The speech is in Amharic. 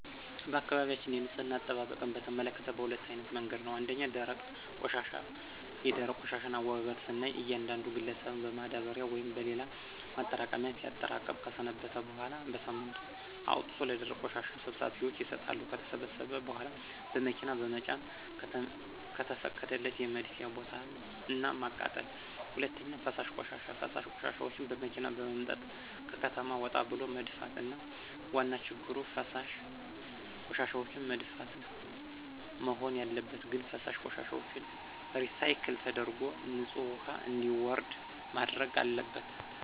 በአካባቢያችን የንፅህና አጠባበቅን በተመከተ በሁለት አይነት መንገድ ነው። ፩) ደረቅ ቆሻሻ፦ የደረቅ ቆሻሻን አወጋገድ ስናይ እያንዳንዱ ግለሰብን በማዳበሪያ ወይም በሌላ ማጠራቀሚያ ሲያጠራቅም ከሰነበተ በኋላ በሳምንቱ አውጥቶ ለደረቅ ቆሻሻ ሰብሳቢዎች ይሰጣሉ። ከተሰበሰበ በኋላ በመኪና በመጫን ከተፈቀደለት የመድፊያ ቦታ እና ማቃጠል። ፪) ፈሳሽ ቆሻሻ፦ ፈሳሽ ቆሻሻዎችን በመኪና በመምጠጥ ከከተማ ወጣ ብሎ መድፋት። ዋና ችግሩ ፈሳሽ ቆሻሻዎችን መድፋት? መሆን ያለበት ግን ፈሳሽ ቆሻሻዎችን ሪሳይክል ተደርጎ ንፅህ ውሀ እንዲወርድ መደረግ አለበት።